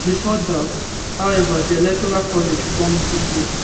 bifor dat however di electoral college come into play